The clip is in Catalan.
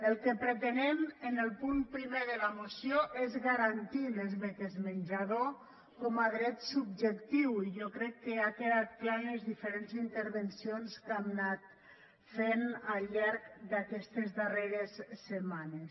el que pretenem en el punt primer de la moció és garantir les beques menjador com a dret subjectiu i jo crec que ha quedat clar en les diferents intervencions que hem anat fent al llarg d’aquestes darreres setmanes